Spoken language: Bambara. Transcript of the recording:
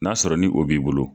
N'a sɔrɔ ni o b'i bolo.